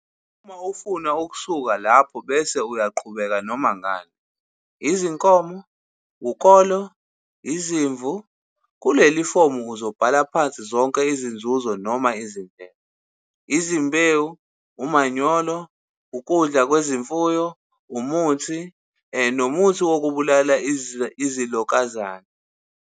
Uma ufuna ukusuka lapho bese uyaqhubeka noma ngani - izinkomo, ukolo, izimvu. Kuleli fomu uzobhala phansi zonke izinzuzo noma izindleko - izimbewu, umanyolo, ukudla kwezimfuyo, umuthi, nomuthi okubulala izilokazane.